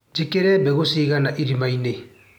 Njĩkĩre mbegũ cigana irimainĩ.